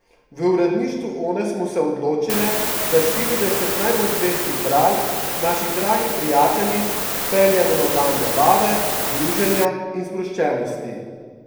V uredništvu One smo se odločile, da štirideset najbolj zvestih bralk, naših dragih prijateljic, peljemo na dan zabave, druženja in sproščenosti.